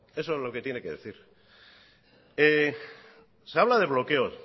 es lo que tiene que decir se habla de bloqueos